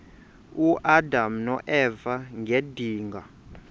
uadam noeva ngedinga